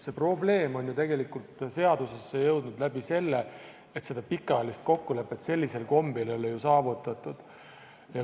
See probleem on ju tegelikult seadusesse jõudnud läbi selle, et seda pikaajalist kokkulepet sellisel kombel ei ole saavutatud.